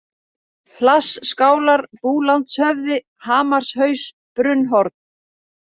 Hlassskálar, Búlandshöfði, Hamarshaus, Brunnhorn